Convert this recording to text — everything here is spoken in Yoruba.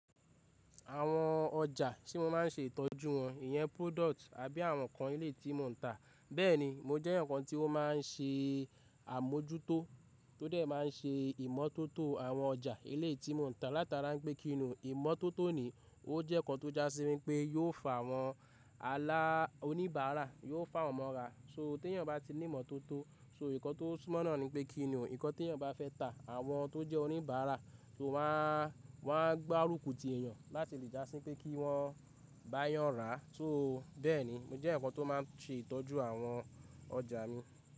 Àwọn ọjà ṣe mo maa n se ìtọ́jú wọn, ìyẹn product àbí àwọn ǹkan eleyi tí mo ń tà. Bẹ́ẹ̀ni mo jẹ́ ǹkan tí ó máa ń ṣe àmójútó tó dẹ̀ máa ń ṣe ìmọ́tótó àwọn ọjà eleyi tí mo ń tà. Látara pé kí ni o ìmọ́tótó ni, ó jẹ́ ǹkan tó jásí wi pé yóò fa àwọn alà, óníbàárà, yóò fàwọ̀n mọ́ra. So tí eyan bá ti ní ìmọ́tótó so n ko tó súmọ́ náà ni pé kí ni o, n kan tí èeyan bá fẹ́ tà, àwọn tó jẹ́ oníbàárà so, won aa, wọ́n aa gbárùkù ti ẹ̀yàn láti lè jásí wi pé kí wọ́n bá yàn rà. So bẹ́ẹ̀ni mo jẹ́ eyan kan tó máa ń ṣe ìtọ́jú àwọn ọjà mi.